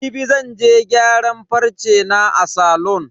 Jibi zan je gyaran farce na a salon.